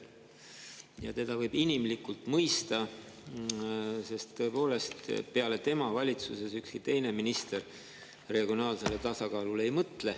Ja teda võib inimlikult mõista, sest tõepoolest, valitsuses ükski teine minister peale tema regionaalsele tasakaalule ei mõtle.